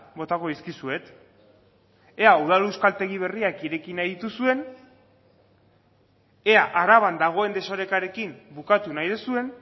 botako dizkizuet ea udal euskaltegi berriak ireki nahi dituzuen ea araban dagoen desorekarekin bukatu nahi duzuen